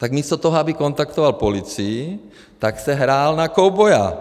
Tak místo toho, aby kontaktoval policii, tak si hrál na kovboje.